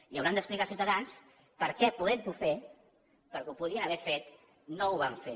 i hauran d’explicar als ciutadans perquè podent ho fer perquè ho podien haver fet no ho van fer